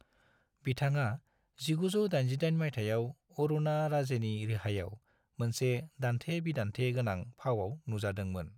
बिथाङा 1988 मायथाइयाव अरुणा राजेनि रिहाईयाव मोनसे दान्थे-बिदान्दे गोनां फावआव नुजादोंमोन।